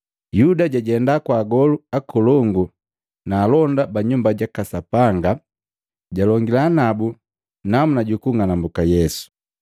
Yuda jajenda kwa Agolu akolongu na alonda ba Nyumba jaka Sapanga, jalongila nabu namuna jukung'anambuka Yesu.